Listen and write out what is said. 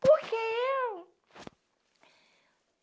Por que eu?